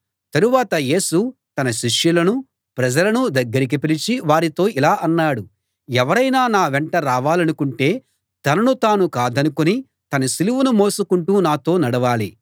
తరువాత యేసు తన శిష్యులను ప్రజలను దగ్గరికి పిలిచి వారితో ఇలా అన్నాడు ఎవరైనా నా వెంట రావాలనుకుంటే తనను తాను కాదనుకుని తన సిలువను మోసుకుంటూ నాతో నడవాలి